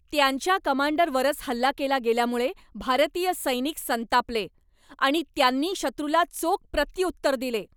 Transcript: त्यांच्या कमांडरवरच हल्ला केला गेल्यामुळे भारतीय सैनिक संतापले आणि त्यांनी शत्रूला चोख प्रत्युत्तर दिले.